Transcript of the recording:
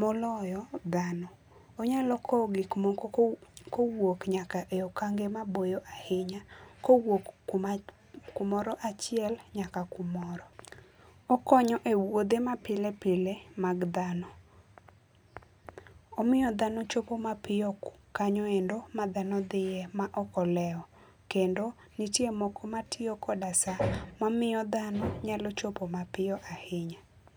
moloyo dhano. Onyalo kowo gik moko kowuok, kowuok nyaka e okange mabor ahinya, kowuok kuma, kumoro achiel nyaka kumoro. Okonyo e wuodhe ma pile mag dhano. Omiyo dhano chopo mapiyo kanyoendo ma dhano dhiye maok olewo kendo nitie moko matiyo koda saa mamiyo dhano nyalo chopo mapiyo ahinya